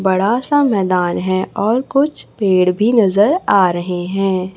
बड़ा सा मैदान है और कुछ पेड़ भी नजर आ रहे हैं।